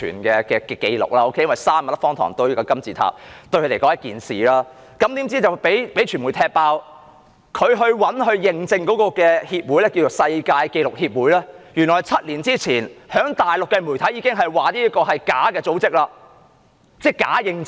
用3萬粒方糖堆出一個金字塔，對他們來說是一件大事，怎料被傳媒"踢爆"，當局找來認證的協會，稱為世界紀錄協會，原來7年前已被大陸媒體揭發是個假組織，提供假認證。